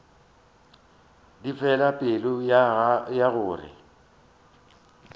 di fela pelo ya gore